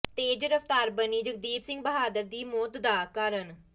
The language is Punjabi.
ਤੇਜ਼ ਰਫਤਾਰ ਬਣੀ ਜਗਦੀਪ ਸਿੰਘ ਬਹਾਦਰ ਦੀ ਮੌਤ ਦਾ ਕਾਰਨ